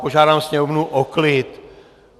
Požádám sněmovnu o klid.